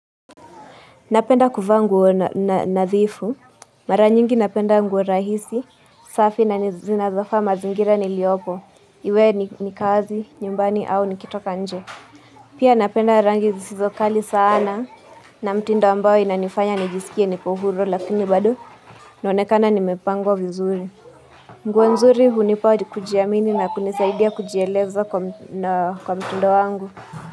Napenda kuvaa nguo nadhifu, mara nyingi napenda nguo rahisi, safi na zinazofaa mazingira niliopo. Iwe ni kazi, nyumbani au nikitoka nje. Pia napenda rangi zisizo kali sana na mtindo ambao inanifanya nijiskie niko huru lakini bado naonekana nimepangwa vizuri. Nguo nzuri hunipa kujiamini na kunisaidia kujieleza kwa na mtindo wangu.